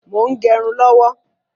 Mo ń gẹrun lọ́wọ́.